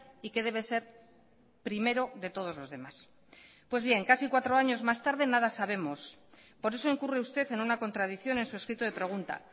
y que debe ser primero de todos los demás pues bien casi cuatro años más tarde nada sabemos por eso incurre usted en una contradicción en su escrito de pregunta